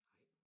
Nej